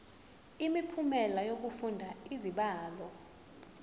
imiphumela yokufunda izibalo